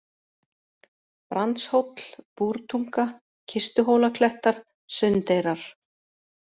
Brandshóll, Búrtunga, Kistuhólaklettar, Sundeyrar